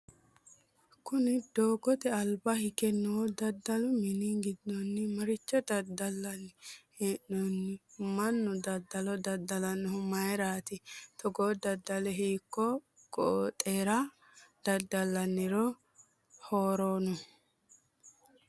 Kunni doogote alba hige noo dadalu minni gidoonni maricho dadalanni hee'noonni? Manu dadalo dada'lanohu mayirati? Togoo dadali hiiko gooxeeira dada'linniro harano?